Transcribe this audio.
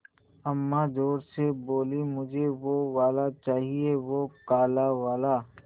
अम्मा ज़ोर से बोलीं मुझे वो वाला चाहिए वो काला वाला